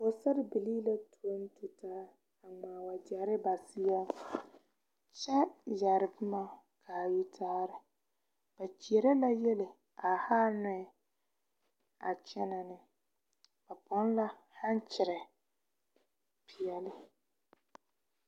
Pɔgesarebilii la tɔnne tu taa a ŋmaa wagyere ba seɛ kyɛ yɛre boma ka a yitaare kyeɛrɛ la yiele a haa nɔɛ a kyɛnɛ ne ba pɔnne la haŋkyiri peɛle.